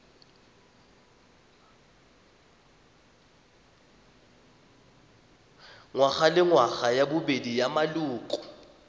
ngwagalengwaga ya bobedi ya maloko